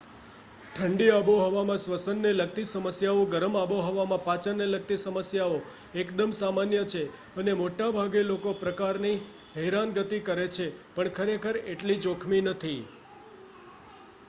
ઠંડી આબોહવામાં સ્વસન ને લગતી સમસ્યાઓ ગરમ આબોહવામાં પાચનને લગતી સમસ્યાઓ એકદમ સામાન્ય છે અને મોટાભાગે અલગ પ્રકારની હેરાનગતિ કરે છે પણ ખરેખર એટલી જોખમી નથી